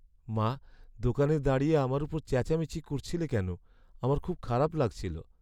মা! দোকানে দাঁড়িয়ে আমার ওপর চেঁচামেচি করছিলে কেন? আমার খুব খারাপ লাগছিল।